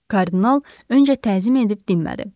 Kardinal öncə təzim edib dinmədi.